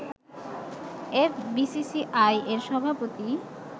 FBCCI এর সভাপতি